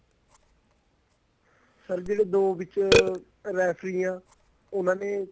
sir ਜਿਹੜੇ ਦੋ ਵਿੱਚ ਰੇਫ਼ਰੀ ਆ ਉਹਨਾ ਨੇ